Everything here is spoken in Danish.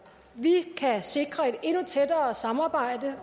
vi kan sikre et endnu tættere samarbejde